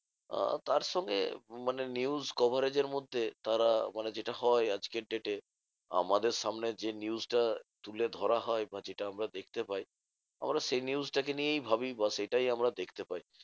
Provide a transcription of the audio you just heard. আহ তারসঙ্গে মানে news coverage এর মধ্যে তারা মানে যেটা হয় আজকের date এ, আমাদের সামনে যে news টা তুলে ধরা হয় বা যেটা আমরা দেখতে পাই আমরা সেই news টা কে নিয়েই ভাবি বা সেটাই আমরা দেখতে পাই।